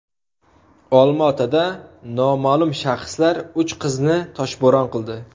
Olma-Otada noma’lum shaxslar uch qizni toshbo‘ron qildi.